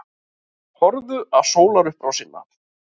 Horfðu á sólarupprásina.